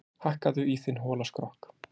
Hakkaðu í þinn hola skrokk,